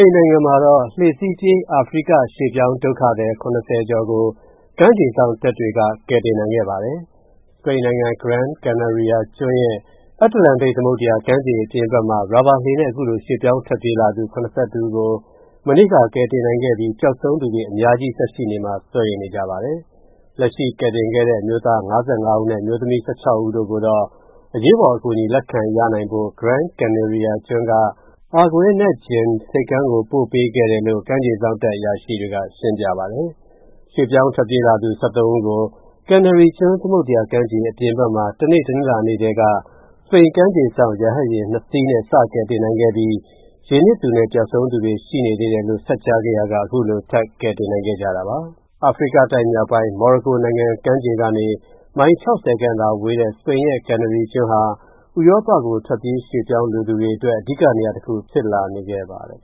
န်နိုင်ငံမှာ လှေနဲ့ပြေးလာတဲ့ အာဖရိက ရွှေ့ပြောင်းဒုက္ခသည် ၇၀ ကျော်ကို ကမ်းခြေစောင့်တပ်တွေက ကယ်တင်နိုင်ခဲ့ပါတယ်။ စပိန်နိုင်ငံ Gran Canaria ကျွန်းရဲ့ အတ္တလန်တိတ် သမုဒ္ဒရာကမ်းခြေ အပြင်ဘက်မှာ ရာဘာလှေနဲ့ အခုလို ရွှေ့ပြောင်းထွက်ပြေးလာသူ ၇၁ ဦးကို မနေ့က ကယ်တင်နိုင်ခဲ့ပြီး ပျောက်ဆုံးသူတွေ အများကြီးဆက်ရှိနေမှာ စိုးရိမ်နေကြပါတယ်။ လက်ရှိကယ်တင်ခဲ့တဲ့ အမျိုးသား ၅၅ ဦးနဲ့ အမျိုးသမီး ၁၆ ဦး တို့ကိုတော့ အရေးပေါ်အကူအညီ လက်ခံရနိုင်ဖို့ Gran Canaria ကျွန်းက Arguinegyin ဆိပ်ကမ်းကို ထပ်ပို့ပေးခဲ့ပါတယ်လို့ ကမ်းခြေစောင့်တပ်အရာရှိတွေက ရှင်းပြပါတယ်။ ရွှေ့ပြောင်းထွက်ပြေးလာသူ ၁၃ ဦးကို Canary ကျွန်း သမုဒ္ဒရာကမ်းခြေ အပြင်ဘက်မှာ တနေ့ တနင်္လာကတည်းက စပိန်ကမ်းခြေစောင့် ရဟတ်ယာဉ် ၂ စီးနဲ့ စတယ်နိုင်ခဲ့ပြီး ရေနစ်သူနဲ့ ပျောက်ဆုံးသူတွေ ရှိနေသေးတယ်လို့ ဆက်ကြားခဲ့ရာက အခုလို ထပ်ကယ်တင်နိုင်ခဲ့တာပါ။ အာဖရိကတိုက်မြောက်ပိုင်း မော်ရိုကိုနိုင်ငံ ကမ်းခြေကနေ မိုင် ၆၀ ခန့် ဝေးတဲ့ စပိန်ရဲ့ Canary ကျွန်းဟာ ဥရောပကို ထွက်ပြေးရွှေ.ပြောင်းလိုသူတွေအတွက် အဓိက နေရာတခု ဖြစ်လာနေခဲ့ပါတယ်။